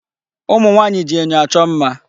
Ụmụ nwaanyị ji enyo achọ mma.